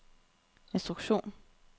instruktion